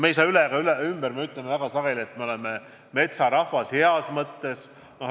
Me ei saa sellest üle ega ümber, me ütleme väga sageli, et me oleme metsarahvas – heas mõttes.